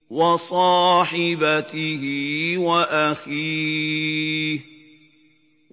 وَصَاحِبَتِهِ وَأَخِيهِ